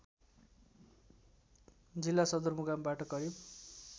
जिल्ला सदरमुकामबाट करिब